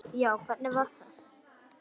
Já, hvernig var það?